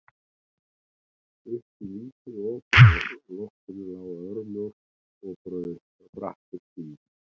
Upp í lítið op á loftinu lá örmjór og brattur stigi.